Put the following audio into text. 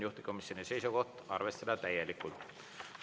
Juhtivkomisjoni seisukoht: arvestada täielikult.